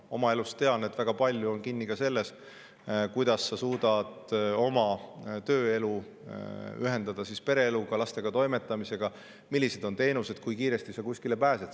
Oma elust tean, et väga palju on kinni ka selles, kuidas sa suudad tööelu ühendada pereeluga, lastega toimetamisega ja millised on teenused, kui kiiresti sa kuskile pääsed.